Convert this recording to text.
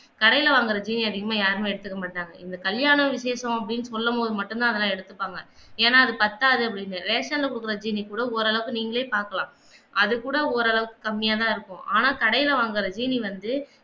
கடையில வாங்குற ஜீனிய அதிகமாக யாருமே எடுத்துக்க மாட்டாங்க இந்த கல்யாண விசேஷம் அப்படின்னு சொல்லும் போது மட்டும் தான் அதெல்லாம் எடுத்துப்பாங்க ஏன்னா அது பத்தாது அப்பிடின்னு ரேஷன்ல குடுக்குற ஜீனிய கூட ஓரளவுக்கு நீங்களே பார்க்கலாம் அது கூட ஓரளவுக்கு கம்மியா தான் இருக்கும் ஆனா கடையில வாங்குற சீனி வந்து